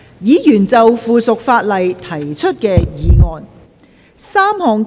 議員就附屬法例提出的議案。